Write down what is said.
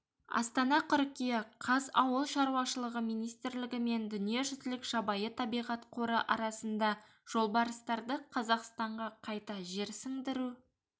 астана қыркүйек қаз ауыл шаруашылығы министрлігі мен дүниежүзілік жабайы табиғат қоры арасында жолбарыстарды қазақстанға қайта жерсіндіру